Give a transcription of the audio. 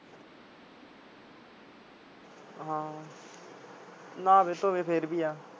ਹਾਂ ਨਾਵੇ ਧੋਵੇ ਫੇਰ ਵੀ ਆ।